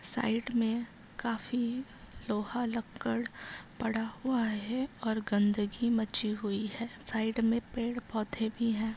Side में काफी लोहा लक्कड़ पड़ा हुआ है और गंदगी मची हुई है। साइड में पेड़-पौधे भी हैं।